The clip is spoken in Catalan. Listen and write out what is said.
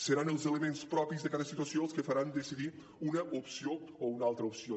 seran els elements propis de cada situació els que faran decidir una opció o una altra opció